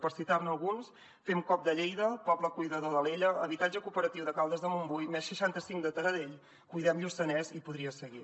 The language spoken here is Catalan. per citar ne alguns fem coop de lleida poble cuidador d’alella habitatge cooperatiu de caldes de montbui +seixanta cinc de taradell cuidem lluçanès i podria seguir